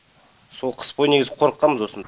сол қыс бойы негізі қорыққанбыз осыны